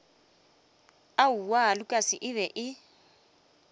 aowaa lukas e be e